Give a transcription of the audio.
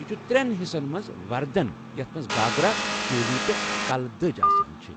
یہِ چُھ ترین حِصن منٛز وردن یتھ مَنٛز گھاگرا، چولی تہٕ کلہٕ دجہِ آسان چھِ۔